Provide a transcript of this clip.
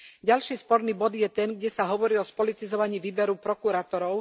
Ďalší sporný bod je ten, kde sa hovorí o spolitizovaní výberu prokurátorov.